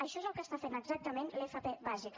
això és el que fa exactament l’fp bàsica